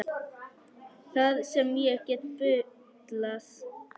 Það sem ég get bullað.